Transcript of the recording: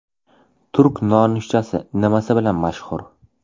Turk nonushtasi nimasi bilan mashhur?.